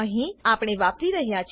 અહી આપણે વાપરી રહ્યા છે